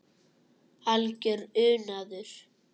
Algjör unaður.